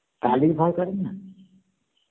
কালির ভয়ে করে না